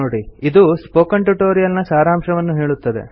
ಇದು spoken tutorial ನ ಸಾರಾಂಶವನ್ನು ಹೇಳುತ್ತದೆ